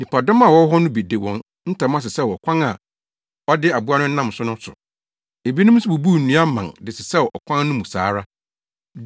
Nnipadɔm a wɔwɔ hɔ no bi de wɔn ntama sesɛw ɔkwan a ɔde aboa no nam so no so. Ebinom nso bubuu nnua mman de sesɛw ɔkwan no mu saa ara.